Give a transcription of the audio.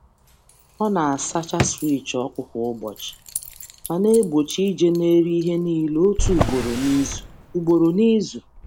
Ọ na-asacha switch ọkụ kwa ụbọchị, ma na-egbochi nje n’elu ihe niile otu ugboro n’izu. ugboro n’izu.